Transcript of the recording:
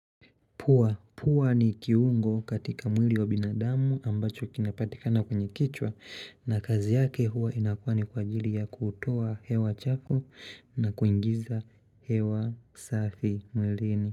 Pua, pua ni kiungo katika mwili wa binadamu ambacho kinapatika na kwenye kichwa na kazi yake hua inafaa ni kwa ajili ya kutoa hewa chafu na kuingiza hewa safi mwilini.